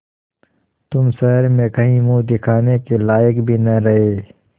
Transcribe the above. तुम शहर में कहीं मुँह दिखाने के लायक भी न रहे